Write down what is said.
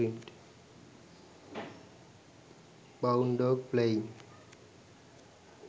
brown dog playing